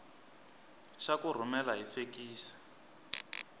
xa ku rhumela hi fekisi